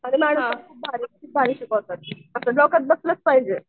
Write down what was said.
खूप भारी शिकवतात असं डोक्यात बसलंच पाहिजे.